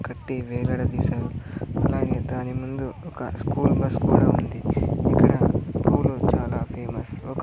కట్టి వేలాడదీసారు అలాగే దాని ముందు ఒక స్కూల్ బస్ కూడా ఉంది ఇక్కడ పూలు చాలా ఫేమస్ ఒక--